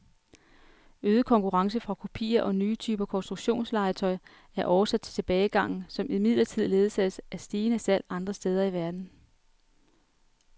Øget konkurrence fra kopier og nye typer konstruktionslegetøj er årsag til tilbagegangen, som imidlertid ledsages af stigende salg andre steder i verden.